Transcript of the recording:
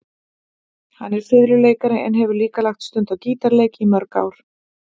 Hann er fiðluleikari en hefur líka lagt stund á gítarleik í mörg ár.